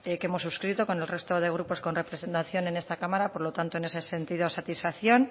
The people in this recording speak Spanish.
que hemos suscrito con el resto de grupos con representación en esta cámara por lo tanto en ese sentido satisfacción